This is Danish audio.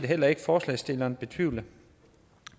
heller ikke forslagsstillerne betvivle